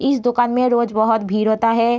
इस दुकान में रोज बोहोत भीड़ होता हे।